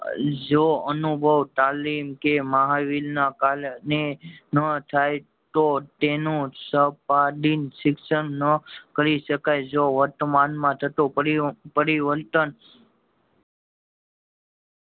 જો અનુભવ, તાલમ કે મહાવિલ ના કાલ ને નો થાય તો તેનું સંપાદિન શિક્ષણ નો કરી શકાય જો વર્તમાન માં થતો પરી પરિવર્તન